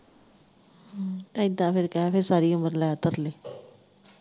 ਐਦਾ ਫਿਰ ਕਹਿ ਫਿਰ ਸਾਰੀ ਉਮਰ ਲੈ ਤਰਲੇ।